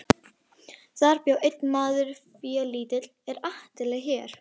Þar bjó einn maður félítill er Atli hét.